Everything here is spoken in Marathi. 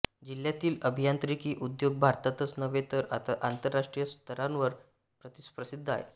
जिल्ह्यातील अभियांत्रिकी उद्योग भारतातच नव्हे तर आंतरराष्ट्रीय स्तरावर प्रसिद्ध आहे